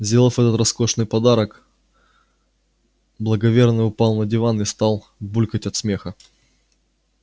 сделав этот роскошный подарок благоверный упал на диван и стал булькать от смеха